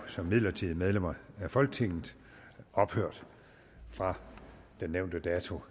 som midlertidige medlemmer af folketinget ophørt fra de nævnte datoer